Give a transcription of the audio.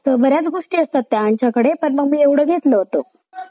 उद्धव ठाकरेचा विश्वासघात अजित पवारच्या घनाघाती आरोप जसा की आपलेला बघत मिळेल आहि की शिंदे